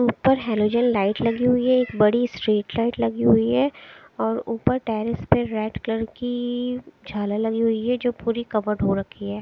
ऊपर halogen light लगी हुई है एक बड़ी स्ट्रीट लाइट लगी हुई है और ऊपर टेरेस पे रेड कलर की झालर लगी हुई है जो पूरी कवर्ड हो रखी है।